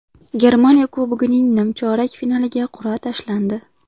Germaniya Kubogining nimchorak finaliga qur’a tashlandi.